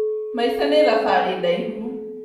Maica nĩ thabarĩ ndaihu